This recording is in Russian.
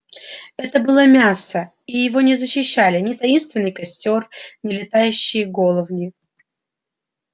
это было мясо и его не защищали ни таинственный костёр ни летающие головни